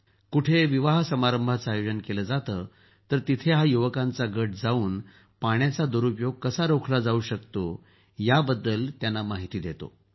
जेथे कुठे विवाह समारंभांचं आयोजन केंलं जातं तिथं या युवकांचा गट जाऊन पाण्याचा दुरूपयोग कसा रोखला जाऊ शकतो यावर त्यांना माहिती देतात